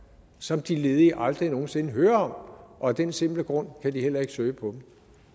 som de ledige aldrig nogen sinde hører om og af den simple grund kan de heller ikke søge dem